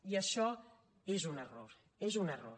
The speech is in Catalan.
i això és un error és un error